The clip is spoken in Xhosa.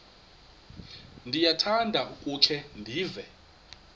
ndiyakuthanda ukukhe ndive